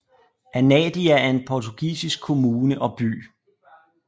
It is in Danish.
Anadia er en portugisisk kommune og by